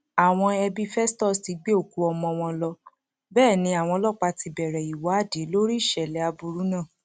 àwọn ẹbí festus ti gbé òkú ọmọ wọn lọ bẹẹ ni àwọn ọlọpàá ti bẹrẹ ìwádìí lórí ìṣẹlẹ aburú náà